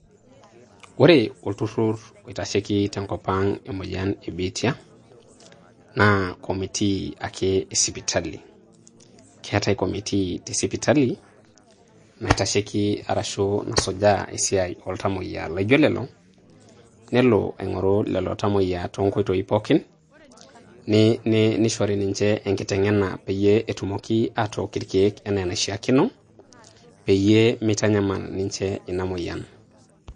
Ore olturrur oitasheiki te nkop ang emoyian e biitia naa commitee ake e sipitali. Keetae committee te sipitali naitasheiki arashu nasujaa esiai oo ltamuoyiak laijo lelo. Nelo aing`oru lelo tamuoyia too nkoitoi pookin. Ni nei nishori ninche enkitegena pee etumoki aatook irkiek enaa enashiakino, peyie mitanyamal ninche ina moyian.